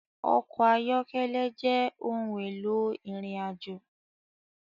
Ọkọ̀ ayọ́kẹ́lẹ́ jẹ́ ohun éló irinàjó